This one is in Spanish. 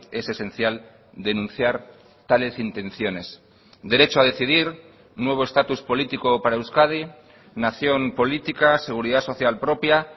es esencial denunciar tales intenciones derecho a decidir nuevo estatus político para euskadi nación política seguridad social propia